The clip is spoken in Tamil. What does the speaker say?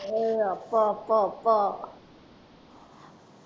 ஆஹ் ஆஹ் அப்பா அப்பா அப்பா